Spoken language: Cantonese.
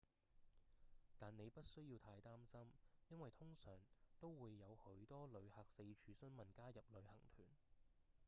但您不需要太擔心因為通常都會有許多旅客四處詢問加入旅行團